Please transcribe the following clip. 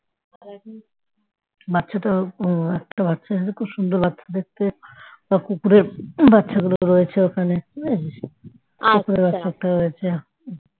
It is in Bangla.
বাচ্চাটা একটা বাচ্চা আছে খুব সুন্দর লাগছে দেখতে। সব কুকুরের বাচ্চা গুলো রয়েছে ওখানে